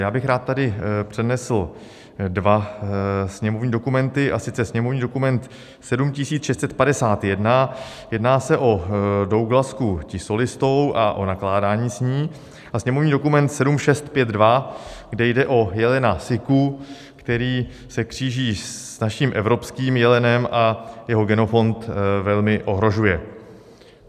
Já bych rád tady přednesl dva sněmovní dokumenty, a sice sněmovní dokument 7651, jedná se o douglasku tisolistou a o nakládání s ní, a sněmovní dokument 7652, kde jde o jelena siku, který se kříží s naším evropským jelenem a jeho genofond velmi ohrožuje.